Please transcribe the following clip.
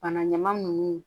Bana ɲaman nunnu